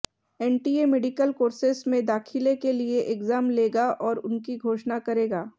NTA medical courses में दाखिले के लिए एग्जाम लेगा और उनकी घोषणा करेगा